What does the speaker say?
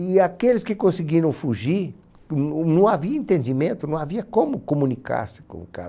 E aqueles que conseguiram fugir, não havia entendimento, não havia como comunicar-se com o cara.